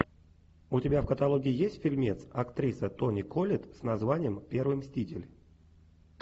у тебя в каталоге есть фильмец актриса тони коллетт с названием первый мститель